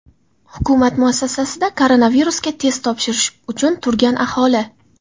Hukumat muassasasida koronavirusga test topshirish uchun turgan aholi.